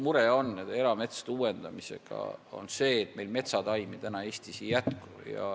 Meil on üks mure erametsade uuendamisega, see on see, et metsataimi Eestis ei jätku.